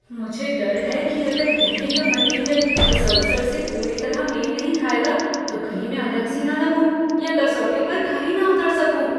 मुझे डर है कि अगर गहने का मटीरियल इस अवसर से पूरी तरह मेल नहीं खाएगा तो कहीं मैं अलग सी न लगूं या कसौटी पर खरी न उतर सकूँ।